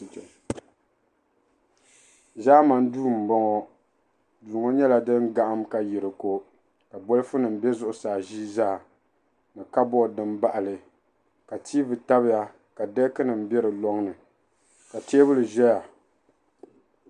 Ʒaamani duu m-bɔŋɔ. Duu ŋɔ nyɛla din gahim ka yi di ko ka bolifunima be zuɣusaa ʒia zaa ni kaboodi dim baɣi li ka tiivi tabiya ka deekinima be di lɔŋ ni ka teebuli zaya.